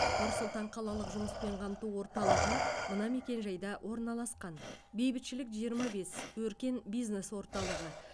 нұр сұлтан қалалық жұмыспен қамту орталығы мына мекенжайда орналасқан бейбітшілік жиырма бес өркен бизнес орталығы